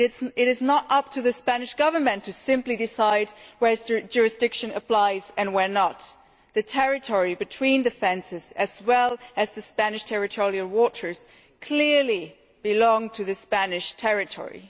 It is not up to the Spanish Government to simply decide where jurisdiction applies and where it does not. The territory between the fences, as well as Spanish territorial waters, clearly belongs to Spanish territory.